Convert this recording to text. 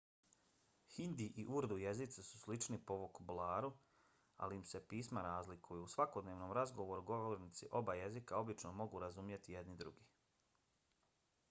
hindi i urdu jezici su slični po vokabularu ali im se pisma razlikuju; u svakodnevnom razgovoru govornici oba jezika obično mogu razumjeti jedni druge